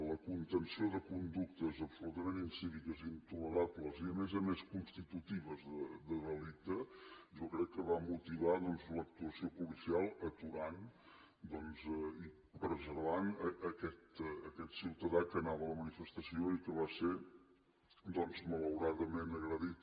la contenció de conductes absolutament incíviques i intolerables i a més a més constitutives de delicte jo crec que va motivar l’actuació policial aturant i preservant aquest ciutadà que anava a la manifestació i que va ser malauradament agredit